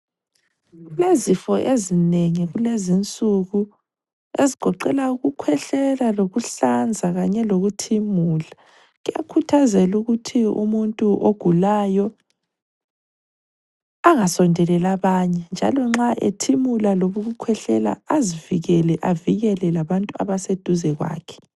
Kulezifo ezinengi kulezinsuku, ezigoqela ukukhwehlela lokuhlanza kanye lokuthimula. Kuyakhuthazelwa ukuthi umuntu ogulayo, angasondeleli abanye njalo nxa ethimula loba ukukhwehlela, azivikele avikele labantu abaseduze kwakhe.